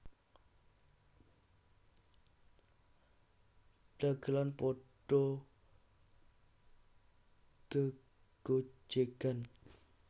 Dagelan padha gegojegan